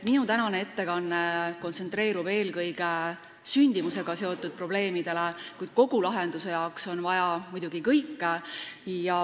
Minu tänane ettekanne kontsentreerub eelkõige sündimusega seotud probleemidele, kuid kogulahenduse jaoks on vaja muidugi kõike.